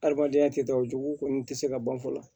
Adamadenya tɛ da o jugu kɔni tɛ se ka ban fɔlɔ